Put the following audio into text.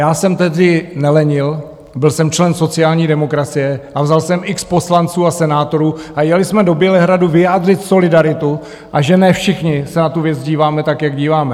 Já jsem tehdy nelenil, byl jsem člen sociální demokracie a vzal jsem x poslanců a senátorů a jeli jsme do Bělehradu vyjádřit solidaritu, a že ne všichni se na tu věc díváme tak, jak díváme.